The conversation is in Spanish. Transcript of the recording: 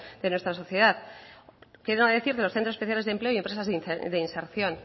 de nuestra sociedad qué no decir de los centro especiales de empleo y empresas de inserción